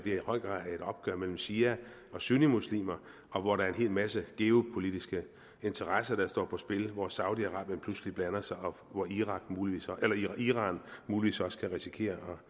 i høj grad er et opgør mellem shia og sunnimuslimer og hvor der er en hel masse geopolitiske interesser der står på spil hvor saudi arabien pludselig blander sig og hvor iran muligvis iran muligvis også kan risikere